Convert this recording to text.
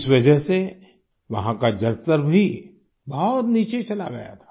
इस वजह से वहाँ का जलस्तर भी बहुत नीचे चला गया था